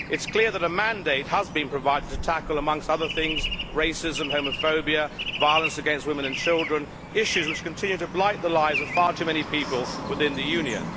It is clear that a mandate has been provided to tackle, amongst other things, racism, homophobia, violence against women and children issues which continue to blight the lives of far too many people within the Union.